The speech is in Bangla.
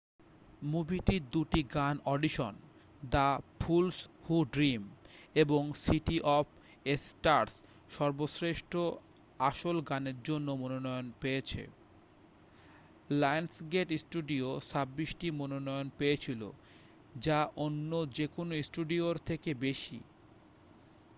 মুভিটির দুটি গান audition the fools who dream এবং সিটি অফ স্টার্স সর্বশ্রেষ্ঠ আসল গানের জন্য মনোনয়ন পেয়েছে। লায়ন্সগেট স্টুডিও 26 টি মনোনয়ন পেয়েছিল -যা অন্য যে কোনও স্টুডিওর থেকে বেশি।